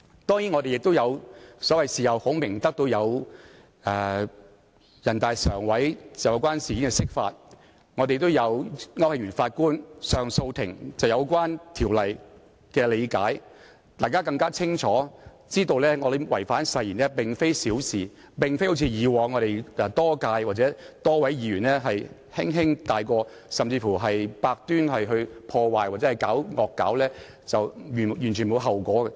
當然，我們亦有所謂的事後孔明，得到人大常委會就有關事件進行釋法，亦有高等法院上訴法庭區慶祥法官對有關條例的理解，大家更清楚知道議員違反誓言並非小事，並非像以往多屆多位議員般可以輕輕帶過，甚至是百端破壞或"惡搞"也完全沒有後果。